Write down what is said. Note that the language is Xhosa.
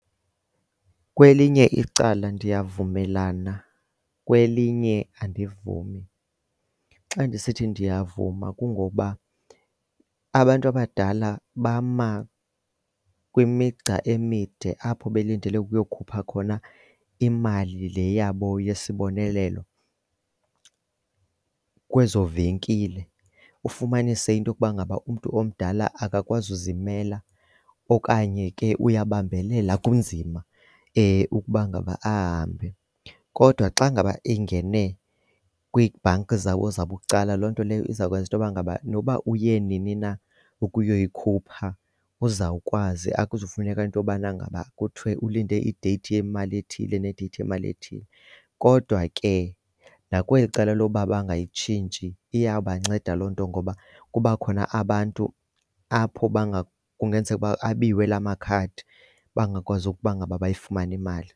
Kwelinye icala ndiyavumelana, kwelinye andivumi. Xa ndisithi ndiyavuma kungokuba abantu abadala bama kwimigca emide apho belindele ukuyokhupha khona imali le yabo yesibonelelo kwezo venkile. Ufumanise into yokuba ngaba umntu omdala akakwazi uzimela okanye ke uyabambelela kunzima ukuba ngaba ahambe. Kodwa xa ngaba ingene kwii-bank zabo zabucala, loo nto leyo iza kwenza intoba ngaba nokuba uye nini na ukuyoyikhupha uzawukwazi. Akuzufuneka into yobana ngaba kuthiwe ulinde ideyithi yemali ethile nedeyithi imali ethile. Kodwa ke nakweli cala lokuba bangayitshintshi iyabanceda loo nto ngoba kuba khona abantu apho kungenzeka ukuba abiwe la makhadi bangakwazi ukuba ngaba bayifumane imali.